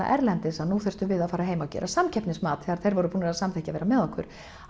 erlendis að nú þyrftum við að fara heim að gera samkeppnismat þegar þeir voru búnir að samþykkja að vera með okkur